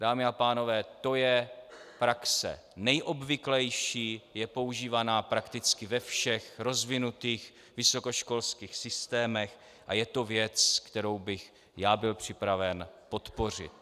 Dámy a pánové, to je praxe nejobvyklejší, je používaná prakticky ve všech rozvinutých vysokoškolských systémech a je to věc, kterou bych já byl připraven podpořit.